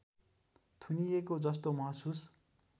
थुनिएको जस्तो महसुस